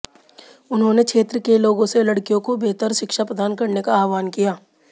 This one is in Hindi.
उन्होंने क्षेत्र के लोगों से लड़कियों को बेहतर शिक्षा प्रदान करने का आहवान किया